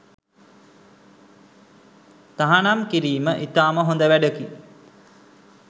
තහනම් කිරීම ඉතාම හොද වැඩකි.